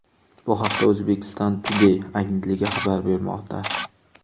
Bu haqda Uzbekistan Today agentligi xabar bermoqda .